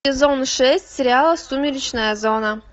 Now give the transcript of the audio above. сезон шесть сериала сумеречная зона